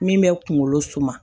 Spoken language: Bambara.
Min bɛ kunkolo suma